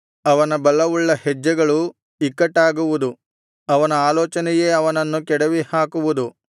ಅವನ ಬಲವುಳ್ಳ ಹೆಜ್ಜೆಗಳು ಇಕ್ಕಟ್ಟಾಗುವುದು ಅವನ ಆಲೋಚನೆಯೇ ಅವನನ್ನು ಕೆಡವಿಹಾಕುವುದು